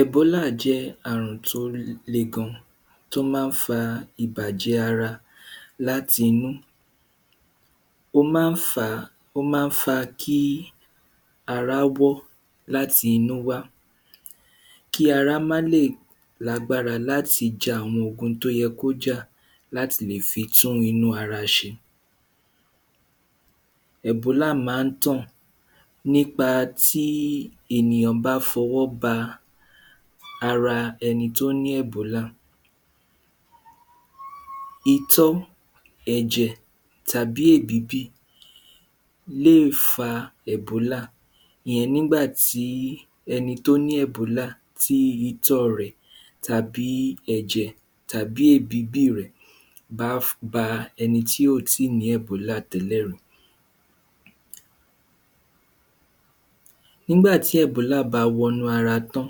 ẹ̀bólà jẹ́ àrùn tó le gan tó má fa ìbàjẹ́ ara láti inú ó má fa ó má fa kí ara wọ́ láti inú wá kí ara má lè lágbára láti ja àwọn tó yẹ kí ó jà láti lè fi tún inú ara ṣe ẹ̀bólá má tàn nípa tí ènìyàn bá fọwọ́ ba ara ẹni tó ní ẹ̀bólà itọ́ ẹ̀jẹ̀ tàbí èbíbì lé fa ẹbólà ìyen nígbàtí ẹni tó ní ẹ̀bólà tí itọ́ rẹ̀ tàbí ẹ̀jẹ̀ tàbí èbíbì rẹ̀ bá ba ẹni tí kòtí ní ẹ̀bólà télè rí nígbàtí ẹ̀bólà bá wọ inú ara tán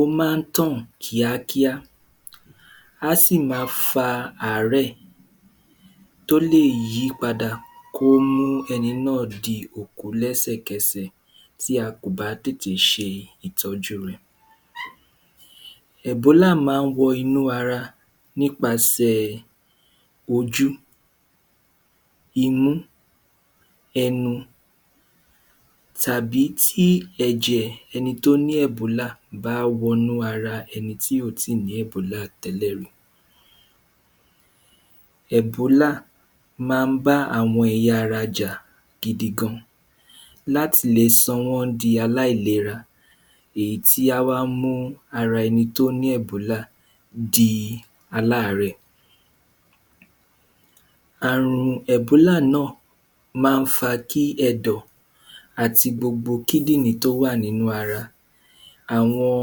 ó má tàn kíákíá á sì ma fa àárẹ̀ tó lè yípadà kó mú ẹni náà di òkú lẹ́sẹ̀kẹsẹ̀ tí a kò bá tẹ̀tẹ̀ se ìtọ́jú rẹ̀ ẹ̀bólà má wọ inú ara nípasẹ̀ ojú imú ẹnu tàbí tí ẹ̀jẹ ẹni tó ní ẹ̀bólà bá wọ inú ara ẹni tí kò tí ní ẹ̀bólà tẹ́lẹ̀ rí ẹ̀bólà má bá àwọn ẹ̀yà ara jà gidi gidi gan láti lè sọ wọ́n di aláìlera èyí tá wá mú ara ẹni tó ní ẹ̀bólà èyí tá wá mú ara ẹ di alárẹ̀ àrùn ẹ̀bólà náà má fa kí ẹ̀dò àti gbogbo kídìrín tó wà nínú ara àwọn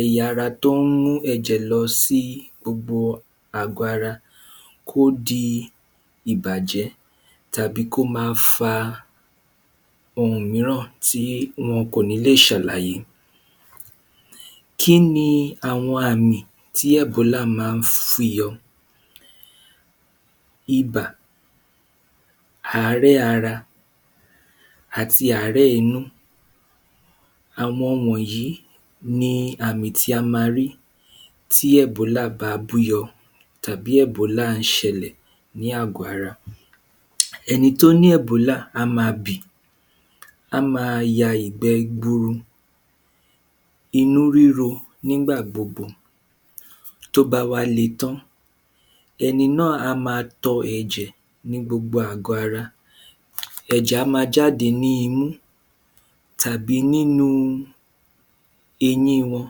ẹ̀yà ara tó mú ẹ̀jẹ̀ lọ sí gbogbo àgọ́ ara ó di ìbàjẹ́ tá kó ma fa tí wọn kò ní lè sàlàyé kíni àwọn àmì tí ẹ̀bólà má fi yọ ibà àárẹ̀ ara àti àárẹ̀ inú àwọn wọ̀nyí ni àmì tí a ma rí tí ẹ̀bólà bá bú yọ tàbí ẹ̀bólà ṣẹlẹ̀ ní àgọ́ ara ẹni tó ní ẹ̀bólà á ma bì á ma ya ìgbẹ́ gburu inú ríru nígbà gbogbo tó bá wá le tán ẹni náà á ma tọ ẹ̀jẹ̀ ní gbogbo àgọ́ ara ẹ̀jẹ̀ a má jáde ní imú tàbí nínú eyín wọn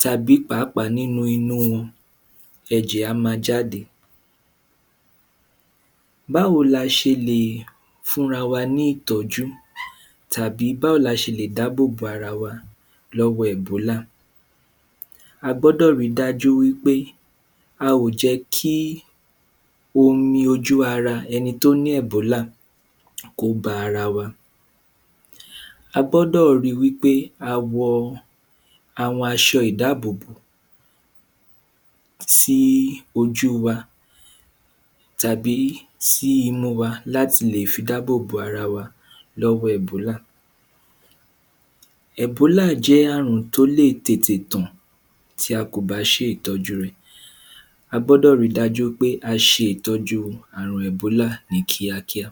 tàbí pàápàá nínú imú wọn ẹ̀jẹ̀ a ma jáde báwo la se le è fúnra wa ní ìtọ́jú tàbí báwo ni a se lè dábòbò ara wa lọ́wọ́ ẹ̀bólà a gbọ́dọ̀ ri dájú pé a ò jẹ́ kí omi ojú ara ẹni tó ní ẹ̀bólà kó ba ara wa a gbọ́dọ̀ ri wí pé a wọ àwọn asọ ìdábòbò sí í ojú wa tàbí sí imú wa láti fi dábò bo ara wa lọ́wọ́ ẹ̀bólà ẹ̀bólà jẹ́ àrùn tó lè tètè tàn ti ́ a kò bá ṣe ìtọ́jú rẹ̀ a gbọ́dọ̀ ri dájú pé a se ìtọ́jú àrùn ẹ̀bólà yí ní kíákíá